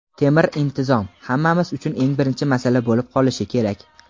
"Temir intizom" — hammamiz uchun eng birinchi masala bo‘lib qolishi kerak.